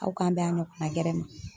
Aw ka n bɛn a ɲɔgɔnna gɛrɛ ma.